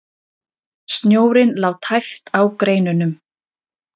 Snjórinn lá tæpt á greinunum.